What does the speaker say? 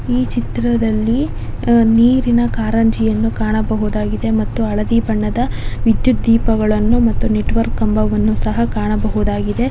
ಈ ಚಿತ್ರದಲ್ಲಿ ನೀರಿನ ಕಾರಂಜಿಯನ್ನು ಕಾಣಬಹುದು ಹಳದಿ ಬಣ್ಣದ ವಿದ್ಯುತ್ ದೀಪಗಳನ್ನು ಮತ್ತು ನೆಟ್ವರ್ಕ್ ಕಂಬಗಳನ್ನು ಕಾಣಬಹುದು.